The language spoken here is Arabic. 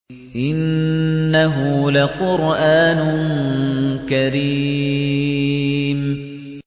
إِنَّهُ لَقُرْآنٌ كَرِيمٌ